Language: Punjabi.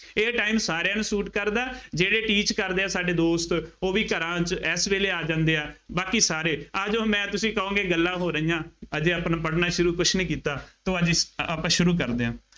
ਇਹ time ਸਾਰਿਆਂ ਨੂੰ suit ਕਰਦਾ। ਜਿਹੜੇ teach ਕਰਦੇ ਆ ਸਾਡੇ ਦੋਸਤ ਉਹ ਵੀ ਘਰਾਂ ਚ ਐਸ ਵੇਲੇ ਆ ਜਾਂਦੇ ਆ, ਬਾਕੀ ਸਾਰੇ ਆ ਜਾਉ ਮੈਂ ਤੁਸੀਂ ਕਹੋਂਗੇ ਗੱਲਾਂ ਹੋ ਰਹੀਆਂ, ਹਜੇ ਆਪਣਾ ਪੜ੍ਹਣਾ ਸ਼ੁਰੂ ਕੁੱਛ ਨਹੀਂ ਕੀਤਾ, ਤੋਂ ਅੱਜ ਇਸ, ਆਪਾਂ ਸ਼ੁਰੂ ਕਰਦੇ ਹਾਂ।